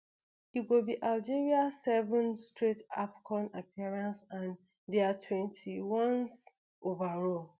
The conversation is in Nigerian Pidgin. e go be algeria seventh straight afcon appearance and dia twenty-onest overall